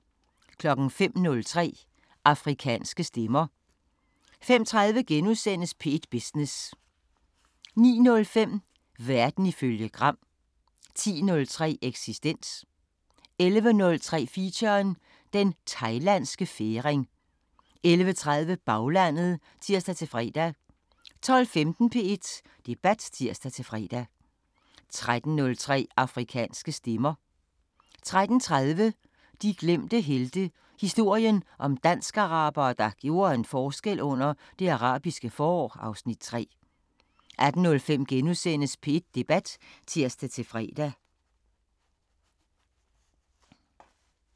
05:03: Afrikanske Stemmer 05:30: P1 Business * 09:05: Verden ifølge Gram 10:03: Eksistens 11:03: Feature: Den Thailandske Færing 11:30: Baglandet (tir-fre) 12:15: P1 Debat (tir-fre) 13:03: Afrikanske Stemmer 13:30: De glemte helte – historien om dansk-arabere, der gjorde en forskel under Det Arabiske forår (Afs. 3) 18:05: P1 Debat *(tir-fre)